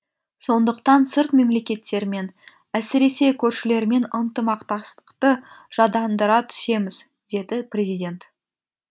сондықтан сырт мемлекеттермен әсіресе көршілермен ынтымақтастықты жадандыра түсеміз деді президент